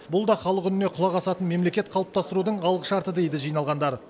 бұл да халық үніне құлақ асатын мемлекет қалыптастырудың алғышарты дейді жиналғандар